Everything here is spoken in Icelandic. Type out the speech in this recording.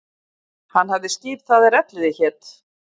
Hann hafði skip það er Elliði hét.